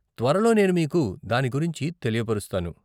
త్వరలో నేను మీకు దాని గురించి తెలియపరుస్తాను.